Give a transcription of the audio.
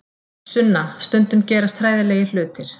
Sunna, stundum gerast hræðilegir hlutir.